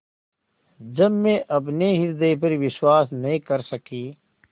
जब मैं अपने हृदय पर विश्वास नहीं कर सकी